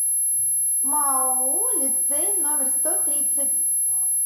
маоу лицей номер сто тридцать